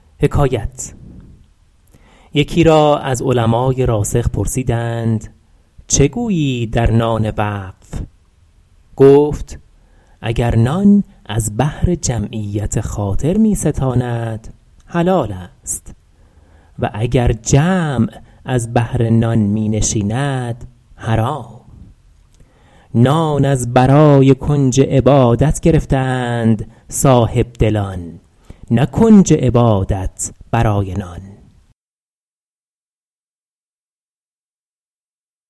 یکی را از علمای راسخ پرسیدند چه گویی در نان وقف گفت اگر نان از بهر جمعیت خاطر می ستاند حلال است و اگر جمع از بهر نان می نشیند حرام نان از برای کنج عبادت گرفته اند صاحبدلان نه کنج عبادت برای نان